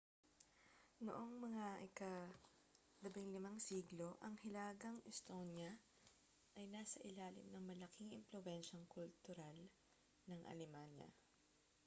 noong mga ika-15 siglo ang hilagang estonia ay nasa ilalim ng malaking impluwensiyang kultural ng alemanya